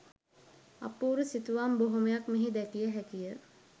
අපූරු සිතුවම් බොහොමයක් මෙහි දැකිය හැකිය.